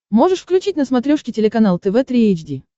можешь включить на смотрешке телеканал тв три эйч ди